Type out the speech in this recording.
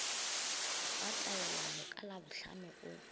wa taelano ka labohlano o